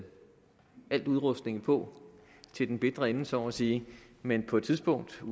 al udrustningen på til den bitre ende så må sige men på et tidspunkt skal